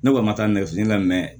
Ne kɔni ma taa nɛgɛ fili la